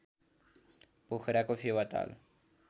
पोखराको Phewa Tal